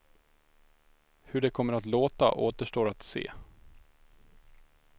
Hur det kommer att låta återstår att se.